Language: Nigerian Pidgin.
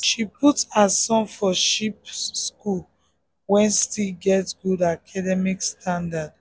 she put her son for cheap son for cheap school wey still get good academic standard.